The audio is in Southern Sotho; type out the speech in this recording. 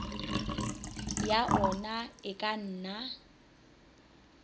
ya ona e ka nna